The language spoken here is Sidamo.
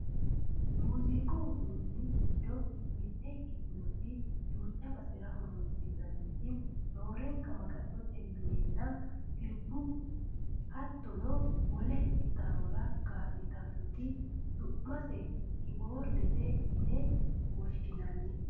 muziiqu uduunni giddo mitte ikkitinoti duucha basera horonsi'nanniti roorenka maga'note minenna sirbaho hattono wole qixxawora ka'litannoti su'mase kiboordete yine woshshinannite